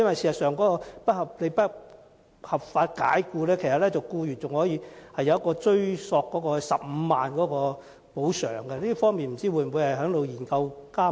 事實上，如遭不合法解僱，僱員有權追索15萬元補償，這項安排會否納入研究範圍內？